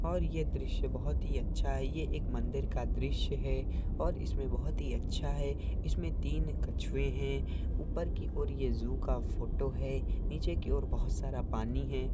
और ये ड्रिसया बोहोत ही अच्छा है और ये मंदिर का ड्रिसया है और बोहोत ही याचा है इसमे तीन खचवे है उपेर की और ये जू का फोंट है और निचे बोहोत सर पनि है ।